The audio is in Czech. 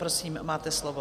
Prosím, máte slovo.